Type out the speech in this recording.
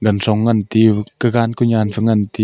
ti kakan koi nyian phai ti.